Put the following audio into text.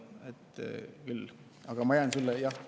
Aga ma jään sulle.